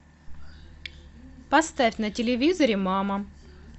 поставь на телевизоре мама